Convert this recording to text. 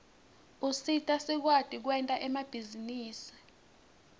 usita sikwati kwenta emabhizinisi